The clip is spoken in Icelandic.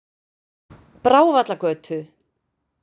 Brávallagötu